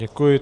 Děkuji.